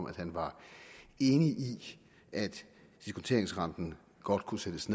at han var enig i at diskonteringsrenten godt kunne sættes